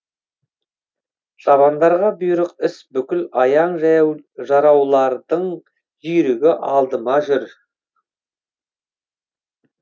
шабандарға бұйрық іс бүкіл аяң жараулардың жүйрігі алдымда жүр